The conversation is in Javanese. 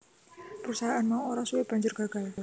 Perusahaan mau ora suwe banjur gagal